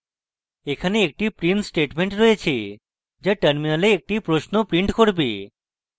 এখানে একটি print statement রয়েছে যা terminal একটি প্রশ্ন print করবে